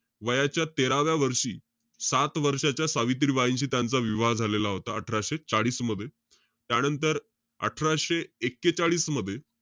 वयाच्या तेराव्या वर्षी, सात वर्षाच्या सावित्रीबाईंशी त्यांचा विवाह झालेला होता. अठराशे चाळीस मध्ये. त्यानंतर, अठराशे एक्केचाळीस मध्ये,